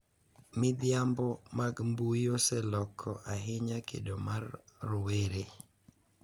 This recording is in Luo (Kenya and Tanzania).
Midhiambo mag mbui oseloko ahinya kido mar rowere